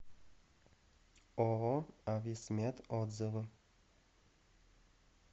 ооо ависмед отзывы